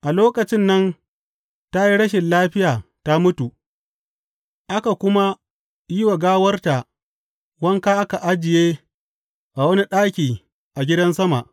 A lokacin nan ta yi rashin lafiya ta mutu, aka kuma yi wa gawarta wanka aka ajiye a wani ɗaki a gidan sama.